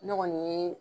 Ne kɔni ye